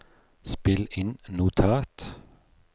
spill inn notat